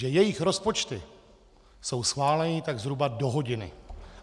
Že jejich rozpočty jsou schváleny tak zhruba do hodiny.